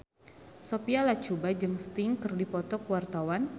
Sophia Latjuba jeung Sting keur dipoto ku wartawan